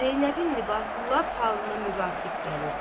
Zeynəbin libası lap halına müvafiq gəlirdi.